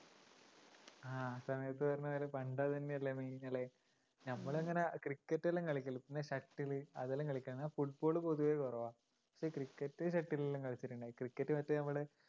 ആ സമയത്തു പറഞ്ഞപോലെ പണ്ടത് തന്നെയല്ലേ main അല്ലേ? നമ്മളങ്ങനെ cricket എല്ലാം കളിക്കാറുണ്ട് പിന്നെ shuttle ഉ അതെല്ലാം കളിക്കാറുണ്ട് football ഉ പൊതുവേ കുറവാ cricket shuttle ഉ എല്ലാം കളിച്ചിട്ടുണ്ട് cricket ഉ മറ്റേ നമ്മടെ